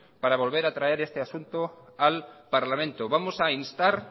para volver a traer este asunto al parlamento vamos a instar